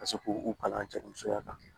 Ka se k'u kalan cɛ musoya kan